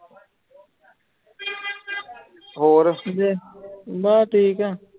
ਹੋਰ ਬਸ ਠੀਕ ਹੈ